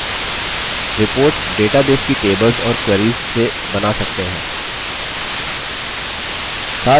reports databases की tables और queries से बना सकते हैं